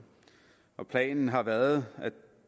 planen har været